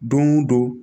Don o don